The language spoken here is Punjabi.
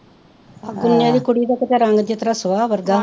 ਆਹ ਪੁੰਨਿਆ ਦੀ ਕੁੜੀ ਦਾ ਕਿਤੇ ਰੰਗ ਦੇਖੋ ਤਾਂ ਸੁਆਹ ਵਰਗਾ